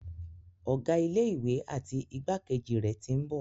Ọ̀gá ilé ìwé àti igbákejì rẹ̀ tí ń bọ̀.